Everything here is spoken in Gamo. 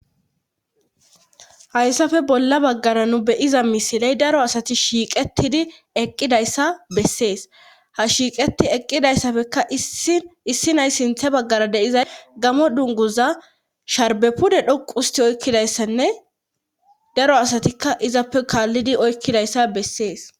hayssafe bolla baggara nu beyiza misiley daro asati shiiqetidi eqqidayssa bessees ha shiiqeti eqqidayssafekka issi nay sinthe baggara deiza gamo dunguza sharbepude dhoqu usti oykkidayssanne daro asatikka izappe kaallidi oykkidayssa bessees